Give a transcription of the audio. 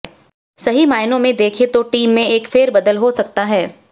सही मायनों में देखें तो टीम में एक फेरबदल हो सकता है